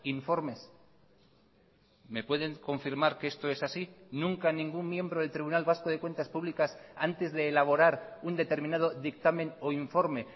informes me pueden confirmar que esto es así nunca ningún miembro del tribunal vasco de cuentas públicas antes de elaborar un determinado dictamen o informe